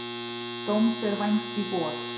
Dóms er vænst í vor.